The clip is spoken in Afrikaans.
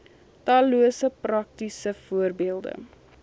tallose praktiese voorbeelde